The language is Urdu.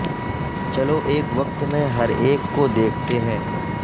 چلو ایک وقت میں ہر ایک کو دیکھتے ہیں